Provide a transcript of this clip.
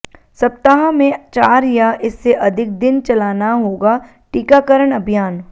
सप्ताह में चार या इससे अधिक दिन चलाना होगा टीकाकरण अभियान